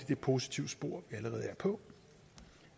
det positive spor vi allerede er på